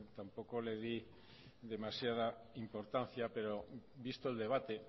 tampoco le di demasiada importancia pero visto el debate